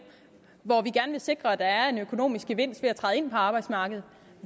sikre at der er en økonomisk gevinst ved at træde ind på arbejdsmarkedet